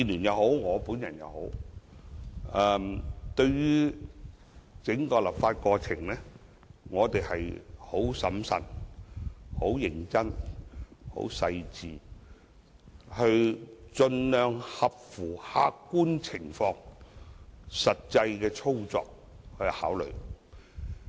在整個立法過程中，民建聯和我皆很審慎、認真和細緻，盡量合乎客觀情況和實際操作給予考慮。